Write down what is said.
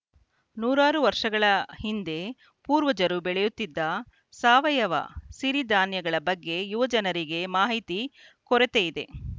ನೂರಾರು ವರ್ಷಗಳ ಹಿಂದೆ ಪೂರ್ವಜರು ಬೆಳೆಯುತ್ತಿದ್ದ ಸಾವಯವ ಸಿರಿಧಾನ್ಯಗಳ ಬಗ್ಗೆ ಯುವ ಜನರಿಗೆ ಮಾಹಿತಿ ಕೊರತೆಯಿದೆ